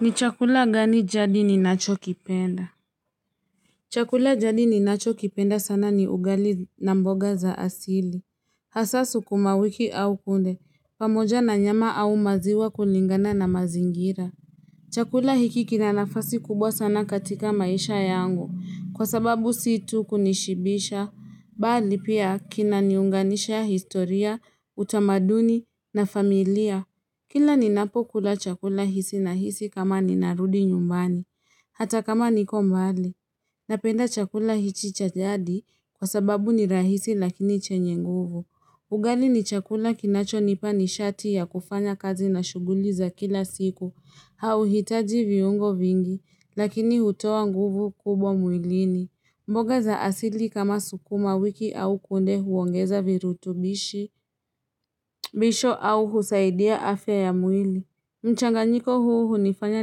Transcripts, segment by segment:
Ni chakula gani jadi ninachokipenda? Chakula jadi ninachokipenda sana ni ugali na mboga za asili. Hasaa sukumawiki au kunde, pamoja na nyama au maziwa kulingana na mazingira. Chakula hiki kina nafasi kubwa sana katika maisha yangu, kwa sababu si tu kunishibisha, bali pia kinaniunganisha historia, utamaduni na familia. Kila ninapokula chakula hisi nahisi kama ninarudi nyumbani, hata kama niko mbali, napenda chakula hichi cha jadi kwa sababu ni rahisi lakini chenye nguvu. Ugali ni chakula kinachonipa nishati ya kufanya kazi na shuguli za kila siku, hauhitaji viungo vingi, lakini hutoa nguvu kubwa mwilini. Mboga za asili kama sukumawiki au kunde huongeza virutubisho au husaidia afya ya mwili. Mchanganyiko huu hunifanya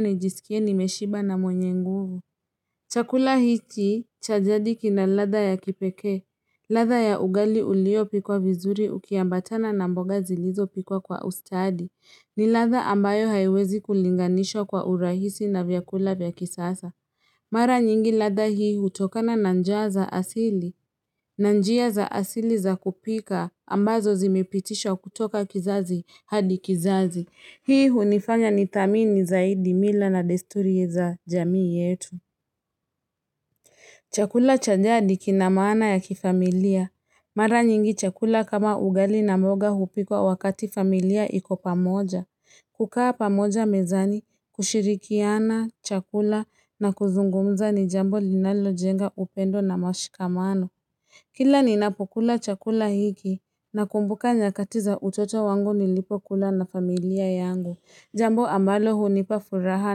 nijisikie nimeshiba na mwenye nguvu. Chakula hiki cha jadi kina ladha ya kipekee. Ladha ya ugali uliopikwa vizuri ukiambatana na mboga zilizopikwa kwa ustadi. Ni ladha ambayo haiwezi kulinganishwa kwa urahisi na vyakula vya kisasa. Mara nyingi ladha hii hutokana na njia za asili za kupika ambazo zimepitisha kutoka kizazi hadi kizazi. Hii hunifanya nithamini zaidi mila na desturi za jamii yetu. Chakula cha jadi kina maana ya kifamilia. Mara nyingi chakula kama ugali na mboga hupikwa wakati familia iko pamoja. Kukaa pamoja mezani, kushirikiana, chakula na kuzungumza ni jambo linalojenga upendo na mashikamano. Kila ninapokula chakula hiki nakumbuka nyakati za utoto wangu nilipokula na familia yangu. Jambo ambalo hunipa furaha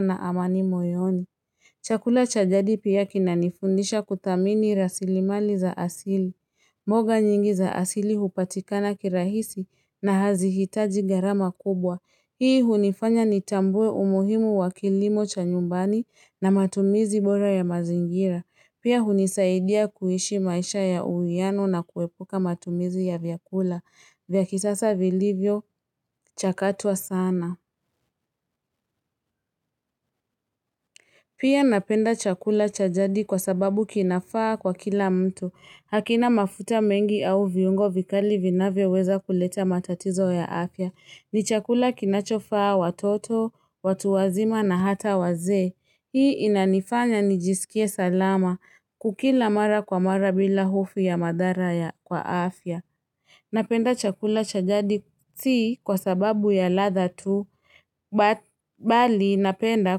na amani moyoni. Chakula cha jadi pia kinanifundisha kuthamini rasilimali za asili. Mboga nyingi za asili hupatikana kirahisi na hazihitaji gharama kubwa. Hii hunifanya nitambue umuhimu wa kilimo cha nyumbani na matumizi bora ya mazingira. Pia hunisaidia kuishi maisha ya uuiano na kuepuka matumizi ya vyakula. Vya kisasa vilivyo chakatwa sana. Pia napenda chakula cha jadi kwa sababu kinafaa kwa kila mtu. Hakina mafuta mengi au viungo vikali vinavyoweza kuleta matatizo ya afya. Ni chakula kinachofaa watoto, watu wazima na hata wazee. Hii inanifanya nijisikie salama kukila mara kwa mara bila hofu ya madhara ya kwa afya. Napenda chakula cha jadi si kwa sababu ya latha tu, bali napenda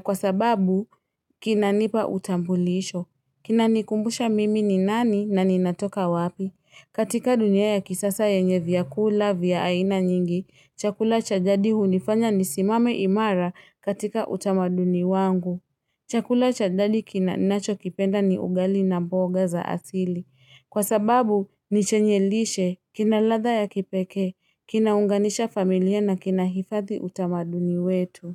kwa sababu kinanipa utambulisho. Kina nikumbusha mimi ni nani na ninatoka wapi. Katika dunia ya kisasa yenye vyakula vya aina nyingi, chakula cha jadi hunifanya nisimame imara katika utamaduni wangu. Chakula cha jadi ninacho kipenda ni ugali na mboga za asili. Kwa sababu ni chenye lishe kina ladha ya kipekee, kinaunganisha familia na kina hifadhi utamaduni wetu.